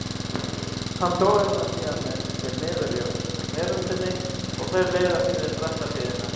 Hann togar hana síðan með sér niður af veröndinni og þau leiðast niður bratta hlíðina.